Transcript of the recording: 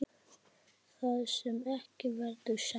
Það sem ekki verður sagt